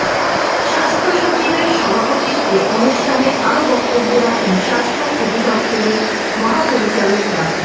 স্বাস্থ্যসচিবের সভাপতিত্বে অনুষ্ঠানে আরো বক্তব্য রাখেন স্বাস্থ্য অধিদপ্তরের মহাপরিচালক ডা